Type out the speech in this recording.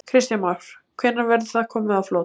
Kristján Már: Hvenær verður það komið á flot?